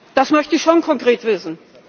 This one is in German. Das möchte ich schon konkret wissen.